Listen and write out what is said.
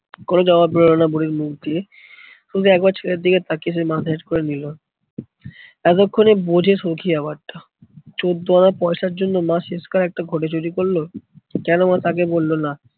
কোনো জবাব বেরোলোনা বুড়ির মুখ দিয়ে। শুধু একবার সে ছেলের দিকে তাকিয়ে সে মাথা হেট্ করে নিলো। এতক্ষনে বোঝে সৌখী ব্যাপারটা। চোদ্দ আনা পয়সার জন্যে মা শেষ কালে একটা ঘটি চুরি করলো, কোনো মা তাকে বললো না?